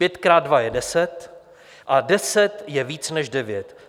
Pět krát dva je deset a deset je víc než devět.